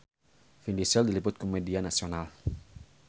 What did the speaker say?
Vin Diesel diliput ku media nasional